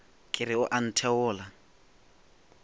ke re o a ntheola